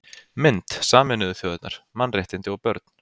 Mynd: Sameinuðu þjóðirnar: Mannréttindi og börn